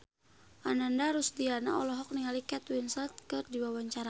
Ananda Rusdiana olohok ningali Kate Winslet keur diwawancara